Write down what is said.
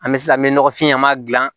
An bɛ sisan an bɛ nɔgɔfin an b'a dilan